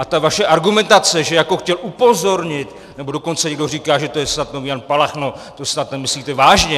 A ta vaše argumentace, že jako chtěl upozornit, nebo dokonce někdo říká, že to je snad nový Jan Palach - no to snad nemyslíte vážně!